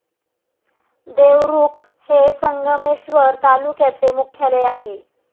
देवरुख हे संगमेश्वर तालुक्याचे मुख्यालय आहे.